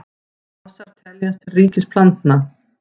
Mosar teljast til ríkis plantna.